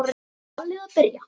Ballið að byrja.